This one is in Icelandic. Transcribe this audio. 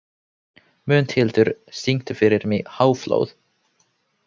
Mundhildur, syngdu fyrir mig „Háflóð“.